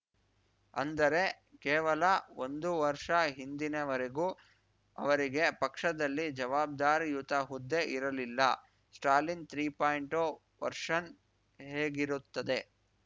ಅಂದರೆ ಕೇವಲ ಒಂದು ವರ್ಷ ಹಿಂದಿನವರೆಗೂ ಅವರಿಗೆ ಪಕ್ಷದಲ್ಲಿ ಜವಾಬ್ದಾರಿಯುತ ಹುದ್ದೆ ಇರಲಿಲ್ಲ ಸ್ಟಾಲಿನ್‌ ತ್ರೀ ಪಾಯಿಂಟು ವರ್ಷನ್‌ ಹೇಗಿರುತ್ತದೆ